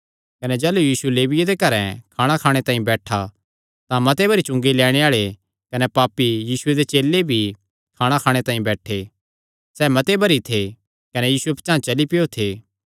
कने जाह़लू यीशु लेविये दे घरैं खाणा खाणे तांई बैठा तां मते भरी चुंगी लैणे आल़े कने पापी कने यीशुये दे चेले भी खाणा खाणे तांई बैठे सैह़ मते भरी थे कने यीशुये पचांह़ चली पैयो थे